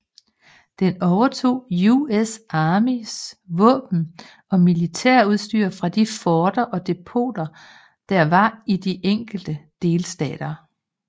Den overtog US Armys våben og militærudstyr fra de forter og depoter der var i de enkelte delstater